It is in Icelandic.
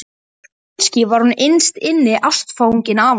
Kannski var hún innst inni ástfangin af honum.